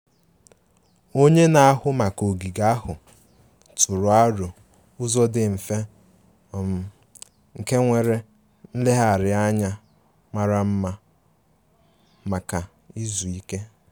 Onye na-ahụ maka ogige ahụ tụrụ aro ụzọ dị mfe um nke nwere nlegharị anya mara mma maka izu ike